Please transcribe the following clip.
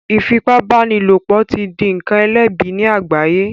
Ifipabanilopo ti dì nkán elẹbi ní àgbáye